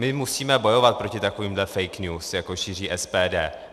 My musíme bojovat proti takovýmhle fake news, jako šíří SPD.